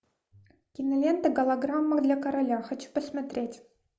кинолента голограмма для короля хочу посмотреть